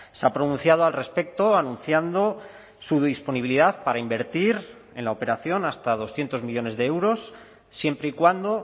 se ha pronunciado al respecto anunciando su disponibilidad para invertir en la operación hasta doscientos millónes de euros siempre y cuando